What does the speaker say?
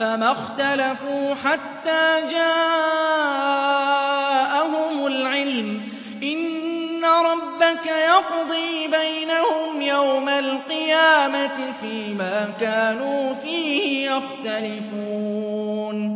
فَمَا اخْتَلَفُوا حَتَّىٰ جَاءَهُمُ الْعِلْمُ ۚ إِنَّ رَبَّكَ يَقْضِي بَيْنَهُمْ يَوْمَ الْقِيَامَةِ فِيمَا كَانُوا فِيهِ يَخْتَلِفُونَ